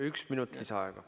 Üks minut lisaaega!